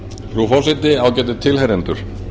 frú forseti ágætu tilheyrendur